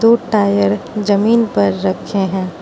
दो टायर जमीन पर रखे हैं।